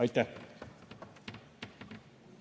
Aitäh!